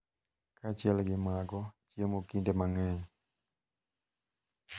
Kaachiel gi mago, chiemo kinde mang’eny ,.